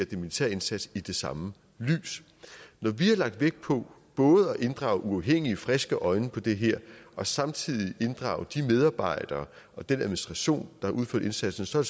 den militære indsats i det samme lys når vi har lagt vægt på både at inddrage uafhængige friske øjne på det her og samtidig inddrage de medarbejdere og den administration der udfører indsatsen så er